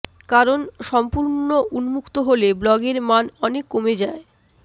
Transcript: কারণ সম্পূর্ণ উন্মুক্ত হলে ব্লগের মান অনেক কমে যায়